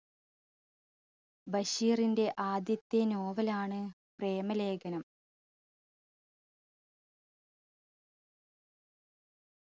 ബഷീറിന്റെ ആദ്യത്തെ novel ആണ് പ്രേമ ലേഖനം